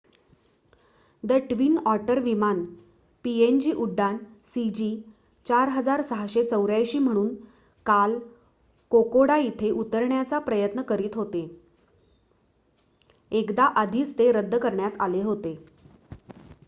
the twin otter विमान PNG उड्डाण सीजी4684 म्हणून काल कोकोडा इथे उतरण्याचा प्रयत्न करीत होते एकदा आधीच ते रद्द करण्यात आले होते